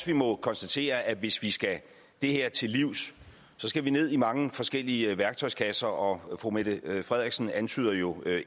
vi må konstatere at hvis vi skal det her til livs skal vi ned i mange forskellige værktøjskasser og fru mette frederiksen antyder jo